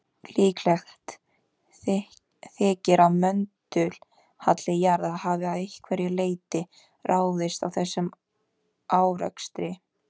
Líklegt þykir að möndulhalli jarðar hafi að einhverju leyti ráðist af þessum árekstri.